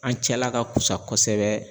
An cɛla ka kusa kɔsɛbɛ